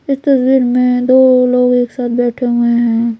इस तस्वीर में दो लोग एक साथ बैठे हुए हैं।